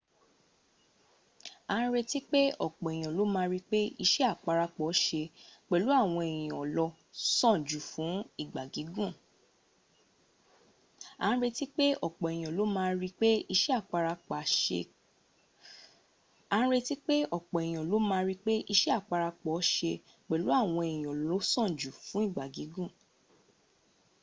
a n retí pé ọ̀pọ̀ èyàn ló ma ríi pé iṣẹ́ àparapọ̀ ṣe pẹ̀lú àwọn èyàn ló sàn jù fún ìgbà gígùn